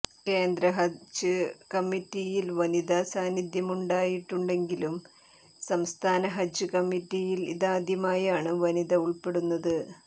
കേന്ദ്ര ഹജ് കമ്മിറ്റിയിൽ വനിതാ സാന്നിധ്യമുണ്ടായിട്ടുണ്ടെങ്കിലും സംസ്ഥാന ഹജ് കമ്മിറ്റിയിൽ ഇതാദ്യമായാണ് വനിത ഉൾപ്പെടുന്നത്